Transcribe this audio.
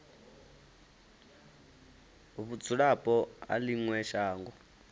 vhudzulapo ha ḽi ṅwe shango